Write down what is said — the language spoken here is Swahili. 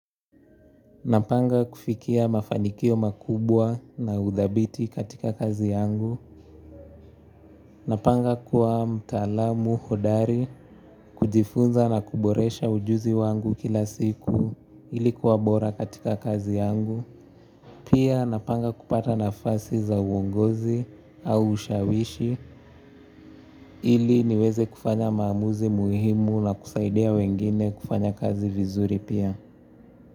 Napanga kufikia mafanikio makubwa na udhabiti katika kazi yangu. Napanga kuwa mtaalamu hodari, kujifunza na kuboresha ujuzi wangu kila siku ili kuwa bora katika kazi yangu. Pia napanga kupata nafasi za uongozi au ushawishi ili niweze kufanya maamuzi muhimu na kusaidia wengine kufanya kazi vizuri pia.